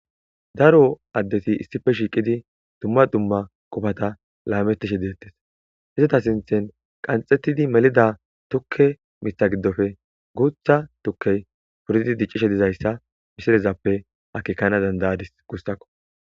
Daro adeti dumma dumma qofata lametishshe dettes izeta sinththen qanxetid melida tuke miththa gidofe guththa tukey dicishshe dizayissa missilezappe akekenas dandayadis gussakko